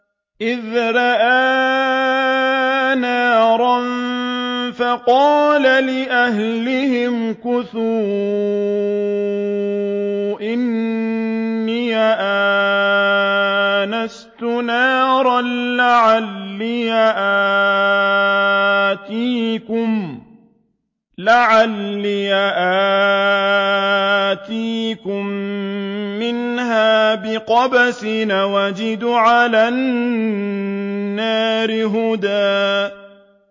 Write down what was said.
إِذْ رَأَىٰ نَارًا فَقَالَ لِأَهْلِهِ امْكُثُوا إِنِّي آنَسْتُ نَارًا لَّعَلِّي آتِيكُم مِّنْهَا بِقَبَسٍ أَوْ أَجِدُ عَلَى النَّارِ هُدًى